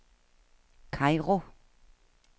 Kairo